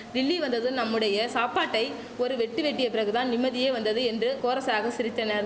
டில்லி வந்ததும் நம்முடைய சாப்பாட்டை ஒரு வெட்டு வெட்டிய பிறகுதான் நிம்மதியே வந்தது என்று கோரசாக சிரித்தனர்